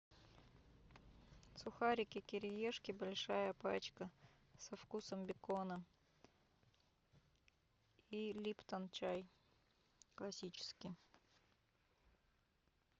сухарики кириешки большая пачка со вкусом бекона и липтон чай классический